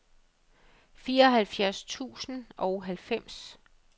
fireoghalvfjerds tusind og halvfems